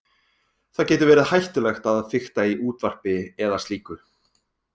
Það getur verið hættulegt að fikta í útvarpi eða slíku.